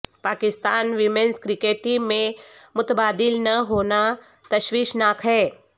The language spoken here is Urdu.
پاکستان ویمنز کرکٹ ٹیم میں متبادل نہ ہونا تشویشناک ہے